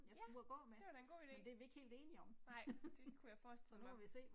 Ja, det var da en god ide. Nej, det kunne jeg forestille mig